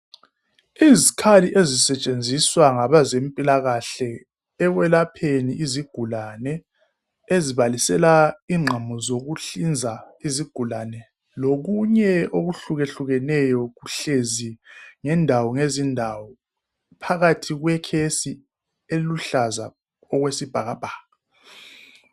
Izikhali ezisetshenziswa ngabezempilakahle ekwelapheni izigulane, ezibalisela ingqamu zokuhlinza izigulane, lokunye okuhlukehlukeneyo kuhlezi ngendawo ngezindawo phakathi kwekhesi eluhlaza okwesibhakabhaka.